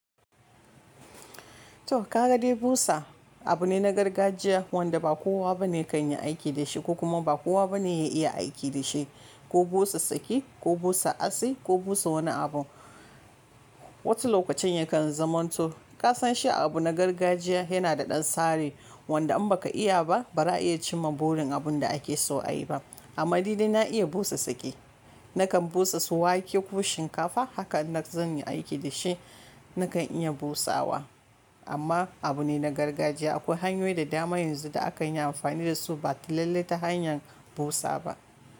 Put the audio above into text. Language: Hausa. To, ka ga dai busa abu ne na gargajiya wanda ba kowa bane kan yi aiki da shi, ko kuma ba kowa bane ya iya aiki da shi. Ko busa saki, ko busa atsi, ko busa wani abun. Wasu lokacin yakan zamanto, ka san shi abu na gargajiya yana da ɗan tsari, wanda in baka iya ba, ba ra a iya cimma burin abun da ake so a yi ba. Amma nidai na iya busa tsaki, nakan busa su wake ko shinkafa, haka in zan yi aiki da shi nakan iya busawa, amma abu ne na gargajiya. Akwai hanyoyi da dama yanzu da akan yi amfani da su ba ta lallai ta hanyar busa ba.